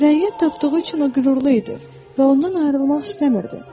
Rəyi tapdığı üçün o qürurlu idi və ondan ayrılmaq istəmirdi.